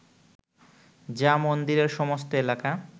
যা মন্দিরের সমস্ত এলাকা